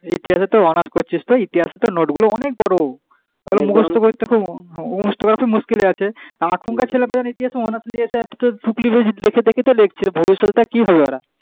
ইতিহাসেতে honours করছিস তুই ইতিহাসে তো note গুলো অনেক বড় মুখস্থ করা খুব মুশকিলই আছে এখনকার ছেলেগুলো যেমন ইতিহাসে honours লিয়েছে তো ফুকলি বাজে দেখে দেখে লিখছে তো ভবিষ্যতে তা কি হবে ওরা,